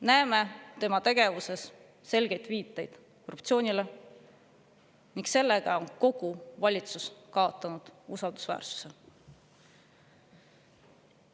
Näeme tema tegevuses selgeid viiteid korruptsioonile ning seetõttu on kogu valitsus kaotanud usaldusväärsuse.